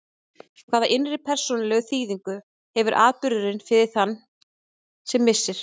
Hvaða innri persónulegu þýðingu hefur atburðurinn fyrir þann sem missir?